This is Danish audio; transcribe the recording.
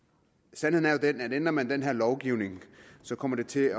sandheden er jo den at ændrer man den her lovgivning kommer det til